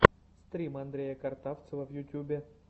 стрим андрея картавцева в ютьюбе